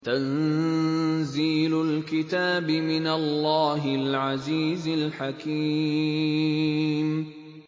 تَنزِيلُ الْكِتَابِ مِنَ اللَّهِ الْعَزِيزِ الْحَكِيمِ